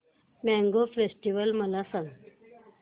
mango festival मला सांग